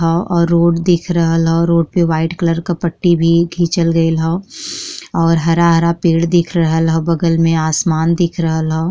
हा और रोड दिख रहल रोड पे वाइट कलर का पट्टी भी खिचल रहल हा और हरा-हरा पेड़ दिख रहल हा बगल में आसमान दिख रहल हा।